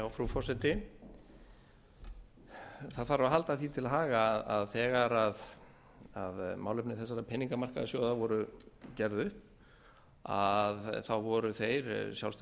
frú forseti það þarf að halda því til haga að þegar málefni þessara peningamarkaðssjóða voru gerð upp voru þeir sjálfstæði